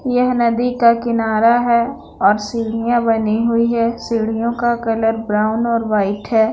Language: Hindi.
यह नदी का किनारा है और सड़ियाँ बनी हुई है सड़ियों का कलर ब्राउन और वाइट है।